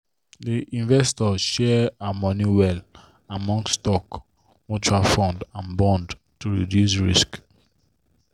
the investor share her money well among stock mutual fund and bond to reduce risk.